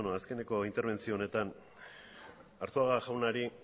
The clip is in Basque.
azkeneko interbentzio honetan arzuaga jaunari